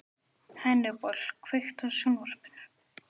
Hannibal, kveiktu á sjónvarpinu.